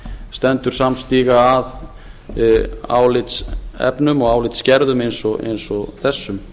stendur samstiga að álitsefnum og álitsgerðum eins og þessum